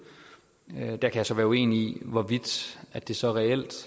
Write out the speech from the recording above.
der kan jeg så være uenig i hvorvidt det så reelt